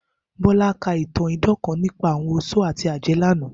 Bola ka itan idan kan nipa awọn oṣó ati awọn ajẹ lana.